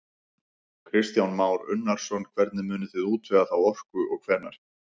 Kristján Már Unnarsson: Hvernig munið þið útvega þá orku og hvenær?